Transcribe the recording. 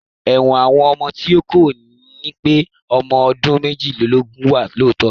Ẹ̀wọ̀n àwọn ọmọ tí kò ì tí pé ọmọ ọdún méjìdínlógún wà lọ́tọ̀